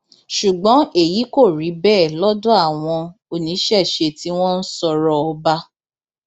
ṣùgbọn èyí kò rí bẹẹ lọdọ àwọn oníṣẹṣẹ tí wọn ń sọrọ ọba